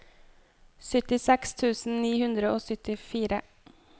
syttiseks tusen ni hundre og syttifire